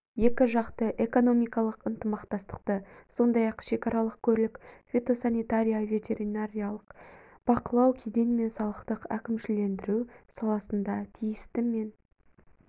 екіжақты экономикалық ынтымақтастықты сондай-ақ шекаралық көлік фитосанитария ветеринарлық бақылау кеден мен салықтық әкімшілендіру саласында тиісті мен